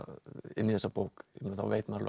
inn í þessa bók þá veit maður